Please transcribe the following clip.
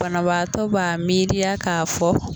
Banabaatɔ b'a miiri k'a fɔ.